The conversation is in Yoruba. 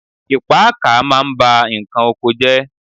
Ìpáàkà ma ń bá ǹkan oko jẹ́.